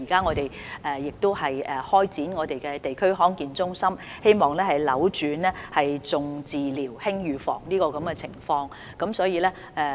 我們現已成立地區康健中心，希望扭轉"重治療，輕預防"的情況。